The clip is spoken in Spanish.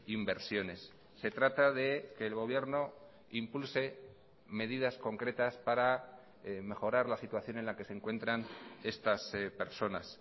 inversiones se trata de que el gobierno impulse medidas concretas para mejorar la situación en la que se encuentran estas personas